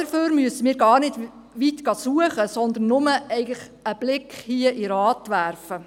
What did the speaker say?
Dafür müssen wir gar nicht weit suchen, sondern nur einen Blick hier in den Ratssaal werfen.